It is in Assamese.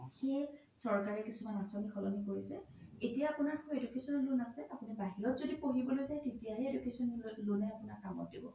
সেই চৰকাৰে কিছুমান আচনী সলনি কৰিছে এতিয়া আপোনাৰ education loan আছে আপোনি বাহিৰত যদি পঢ়িবলৈ যাই তেতিয়াহে আপোনাৰ education loan য়ে আপোনাৰ কামত দিব